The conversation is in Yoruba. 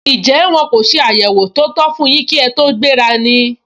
Njẹ́ wọ́n kò se àyẹwò tó tó fún yín kí ẹ tó gbéra ni?